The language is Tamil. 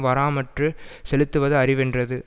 வாராமற்று செலுத்துவது அறிவென்றது